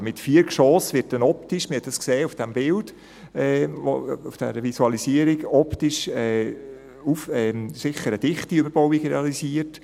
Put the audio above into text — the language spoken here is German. Mit vier Geschossen wird – wir haben es optisch auf diesem Bild, auf der Visualisierung gesehen – sicher eine dichte Überbauung realisiert.